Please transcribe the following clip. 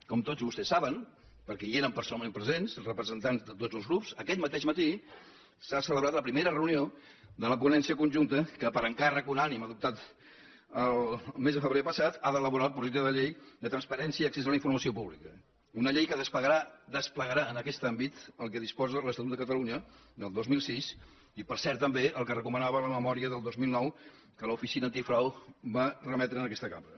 com tots vostès saben perquè hi eren personalment presents representants de tots grups aquest mateix matí s’ha celebrat la primera reunió de la ponència conjunta que per encàrrec unànime adoptat el mes de febrer passat ha d’elaborar el projecte de llei de transparència i accés a la informació pública una llei que desplegarà en aquest àmbit el que disposa l’estatut de catalunya del dos mil sis i per cert també el que recomanava la memòria del dos mil nou que l’oficina antifrau va remetre a aquesta cambra